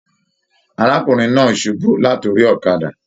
Arákùnrin náà subú lat'ori ọ̀kàdà.